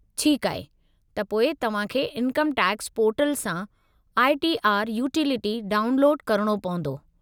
ठीक आहे, त पोइ तव्हां खे इनकम टैक्स पोर्टल सां आई. टी. आर. यूटिलिटी डाउनलोदु करणो पवंदो।